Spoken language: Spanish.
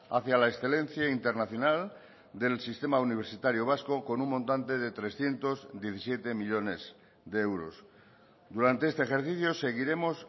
hacia la excelencia internacional del sistema universitario vasco con un montante de trescientos diecisiete millónes de euros durante este ejercicio seguiremos